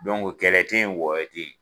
te yen wɔyɔ te yen .